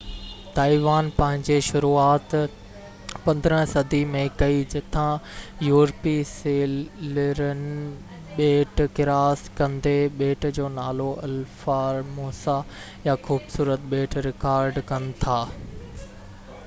Taiwan پنهنجي شروعات 15 صدي ۾ ڪئي جتان يورپي سيلرن ٻيٽ ڪراس ڪندي ٻيٽ جو نالو الها فار موسا يا خوبصورت ٻيٽ رڪارڊ ڪن ٿا